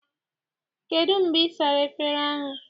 Kedụ mgbe ị sara efere ahụ?